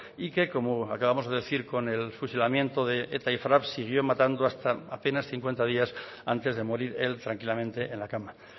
y que como acabamos de decir con el fusilamiento de eta y frap siguió matando hasta apenas cincuenta días antes de morir él tranquilamente en la cama